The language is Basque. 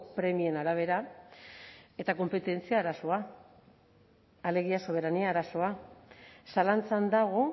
premien arabera eta konpetentzia arazoa alegia soberania arazoa zalantzan dago